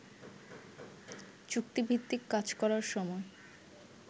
চুক্তিভিত্তিক কাজ করার সময়